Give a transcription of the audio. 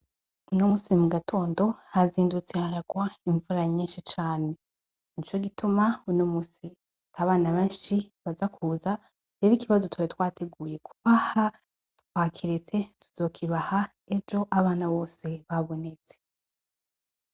Uno musi mugatondo, hazindutse haragwa imvura nyishi cane. Nico gituma uno musi abana benshi baza kuza, rero ikibazo twari twateguye kubaha twakiretse, tuzokibaha ejo abana bose babonetse.